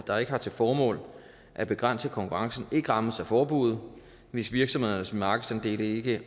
der ikke har til formål at begrænse konkurrencen ikke rammes af forbuddet hvis virksomhedernes markedsandele ikke